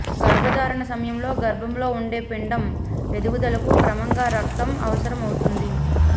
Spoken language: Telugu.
గర్భధారణ సమయంలో గర్భంలో ఉండే పిండం ఎదుగుదలకు క్రమంగా రక్తం అవసరం అవుతుంది